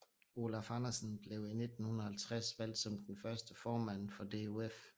Olaf Andersen blev i 1950 valgt som den første formand for DOF